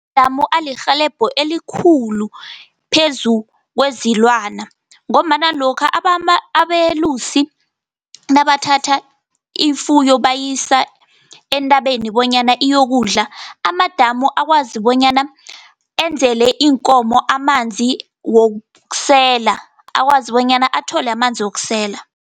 Amadamu elirhelebha elikhulu, phezu kwezilwana, ngombana lokha abelusi nabathatha ifuyo bayisa entabeni bonyana iyokudla, amadamu akwazi bonyana enzele iinkomo amanzi wokusela, akwazi bonyana athole amanzi wokusela.